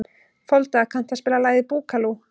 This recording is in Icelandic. Folda, kanntu að spila lagið „Búkalú“?